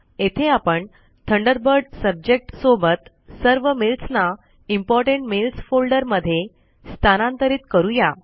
येथे आपण Thunderbird subject सोबत सर्व मेल्स ना इम्पोर्टंट मेल्स फोल्डर मध्ये स्थानांतरित करूया